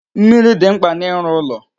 Mmiri dị mkpa n'ịrụ ụlọ.